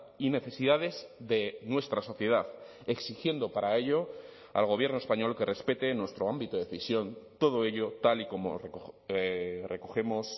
y necesidades de nuestra sociedad exigiendo para ello al gobierno español que respete nuestro ámbito de decisión todo ello tal y como recogemos